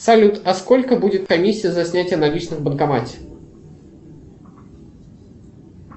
салют а сколько будет комиссия за снятие наличных в банкомате